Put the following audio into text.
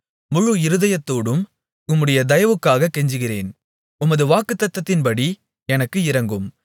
முழு இருதயத்தோடும் உம்முடைய தயவுக்காகக் கெஞ்சுகிறேன் உமது வாக்குத்தத்தத்தின்படி எனக்கு இரங்கும்